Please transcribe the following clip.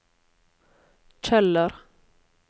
Kjeller